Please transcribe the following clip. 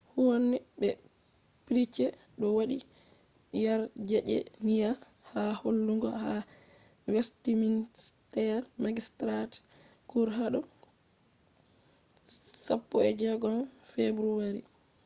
huhne be pryce do wadi yarjejeniya ha hollugo ha westminster magistrates court hado 16 february